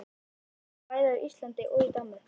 Jónas bjó bæði á Íslandi og í Danmörku.